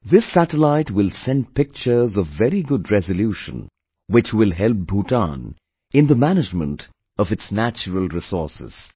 This satellite will send pictures of very good resolution which will help Bhutan in the management of its natural resources